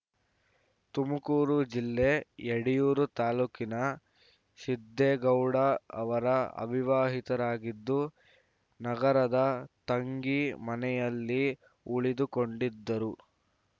ತುಮಕೂರು ಜಿಲ್ಲೆ ಯಡಿಯೂರು ತಾಲೂಕಿನ ಸಿದ್ದೇಗೌಡ ಅವರು ಅವಿವಾಹಿತರಾಗಿದ್ದು ನಗರದ ತಂಗಿ ಮನೆಯಲ್ಲಿ ಉಳಿದುಕೊಂಡಿದ್ದರು